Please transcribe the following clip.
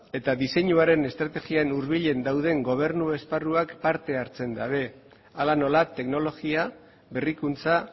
eta diseinuaren estrategian hurbilen dauden gobernu esparruak parte hartzen dute hala nola teknologia berrikuntza